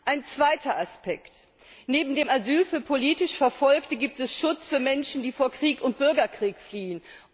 Ein zweiter Aspekt Neben dem Asyl für politisch Verfolgte gibt es Schutz für Menschen, die vor Krieg und Bürgerkrieg fliehen.